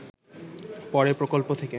পরে প্রকল্প থেকে